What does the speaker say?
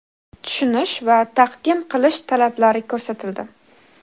tushunish va taqdim qilish talablari ko‘rsatildi.